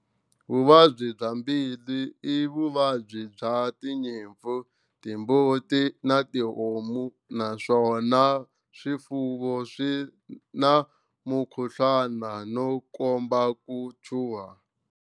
Vuvabyi bya mbilu i vuvabyi bya tinyimpfu, timbuti na tihomu naswona swifuvo swi na mukuhluwana no komba ku chuha.